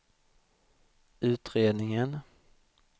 utredningen